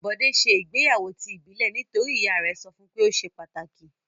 Bọ̀dé ṣe ìgbéyàwó ti ìbílẹ̀ nítorí ìyá rẹ̀ sọ fún pé ó ṣe pàtàkì.